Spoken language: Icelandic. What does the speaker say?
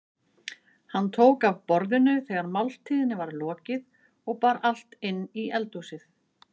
Hann tók af borðinu þegar máltíðinni var lokið og bar allt inn í eldhúsið.